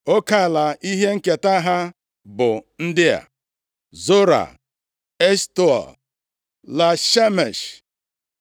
Oke ala ihe nketa ha bụ ndị a: Zora, Eshtaol, Ia-Shemesh,